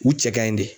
U cɛ kaɲi de